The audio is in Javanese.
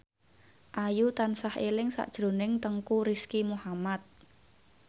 Ayu tansah eling sakjroning Teuku Rizky Muhammad